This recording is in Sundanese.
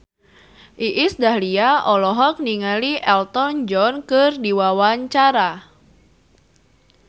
Iis Dahlia olohok ningali Elton John keur diwawancara